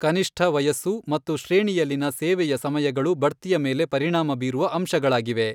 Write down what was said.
ಕನಿಷ್ಠ ವಯಸ್ಸು ಮತ್ತು ಶ್ರೇಣಿಯಲ್ಲಿನ ಸೇವೆಯ ಸಮಯಗಳು ಬಡ್ತಿಯ ಮೇಲೆ ಪರಿಣಾಮ ಬೀರುವ ಅಂಶಗಳಾಗಿವೆ.